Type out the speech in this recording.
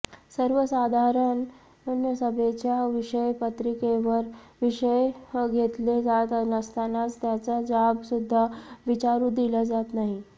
सर्वसाधारण सभेच्या विषयपत्रिकेवर विषय घेतले जात नसतानाच त्याचा जाब सुद्धा विचारु दिला जात नाही